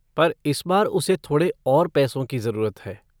पर इस बार उसे थोड़े और पैसों की जरूरत है।